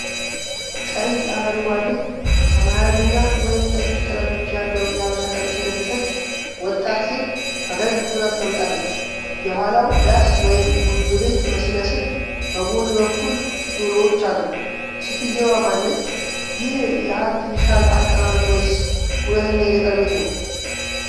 ቀይ፣ አረንጓዴ፣ ሰማያዊና ወይንጠጅ ጥለቶች ያለው የሀበሻ ቀሚስ የለበሰች ወጣት ሴት ፈገግ ብላ ተቀምጣለች። የኋላው ዳስ ወይም ጎጆ ቤት ሲመስል፣ በጎን በኩል ዶሮዎች አሉ። ሴትየዋ ማን ነች? ይህ የአርቲፊሻል አቀማመጥ ወይስ እውነተኛ የገጠር ቤት ነው?